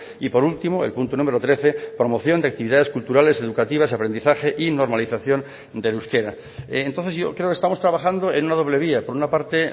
y por último el punto número trece promoción de actividades culturales educativas aprendizaje y normalización del euskera entonces yo creo que estamos trabajando en una doble vía por una parte